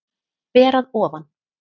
Ber að ofan.